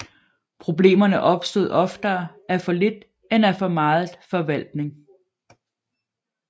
Problemerne opstod oftere af for lidt end af for meget forvaltning